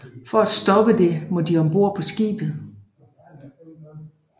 For at stoppe det må de om bord på skibet